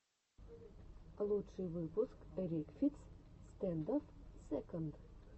лучший выпуск рекфиц стэндофф сэконд